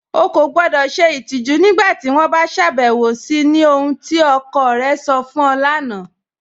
Ọ̀ kọ gbọdọ́ ṣẹ itijù nígbàtí wọn bá ṣàbẹwọ̀ sí ni ohun tí ọkọ̀ rẹ̀ sọ̀ fún u lána